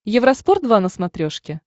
евроспорт два на смотрешке